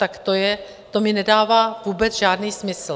Tak to mi nedává vůbec žádný smysl.